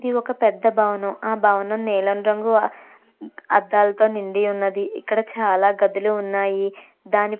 ఇది ఒక పెద్ద భవనం ఆ భవనం నీలం రంగు ఆ అద్దాలతో నిండి ఉన్నది. ఇక్కడ చాలా గదులు ఉన్నాయి. దాని --